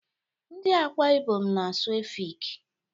Ndị Akwa Ibom na-asụ Efik.